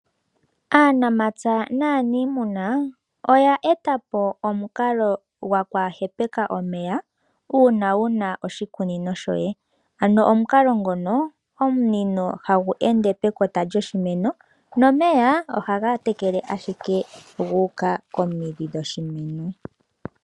Aanamapya naanimuna oya eta po omukalo go kwaaha hepeka omeya una wuna oshikunino shoye. Ano omukalo ngono omunino hagu ende pekota lyoshimeno nomeya oha ga tekele ashike gu uka komidhi dhoshimeno.